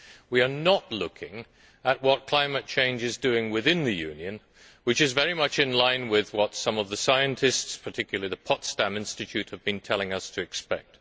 We are not looking at what climate change is doing within the Union, which is very much in line with what some of the scientists, particularly the Potsdam Institute, have been telling us to expect.